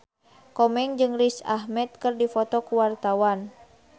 Komeng jeung Riz Ahmed keur dipoto ku wartawan